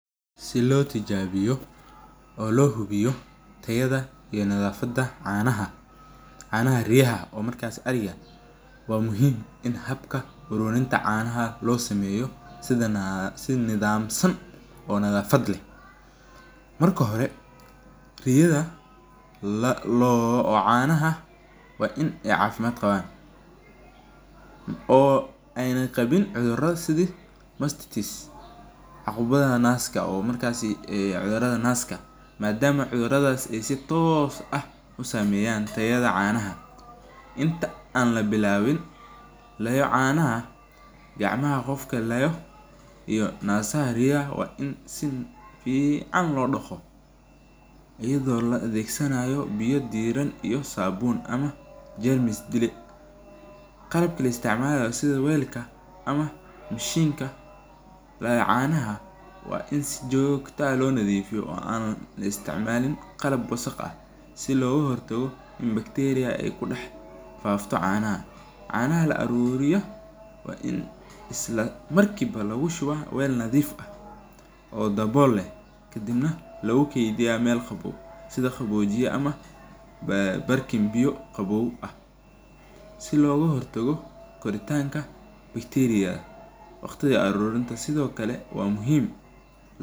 Si lo tijabiyo oo lo hubiyo tirada iyo nadhafaada canaha, canaha riyaha markas ariga waa muhiim In habka canaha lo sameyo si nadhamsan oo lo hubiyo marka hire riyaha oo canaha in ee cafimaad qawan oo ee qawin cudhura ama cudhurada naska, iyada oo la adhegsanaya biyo iyo sabun qalab la isticmalayo sitha weelka ama mashinka canaha waa in si jogto ah lo nadhiifiyo oo an la isticmalin qalab casri ah oo loga hortago in bacteria kudex fafto canaha, canaha la aruriya waa in isla markiwa lagu shuwa weel nadhiif ah si loga hortago koritanka bacteria waqtiga arurinta sithokale waa muhiim.